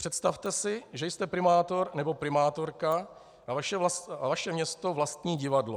Představte si, že jste primátor nebo primátorka a vaše město vlastní divadlo.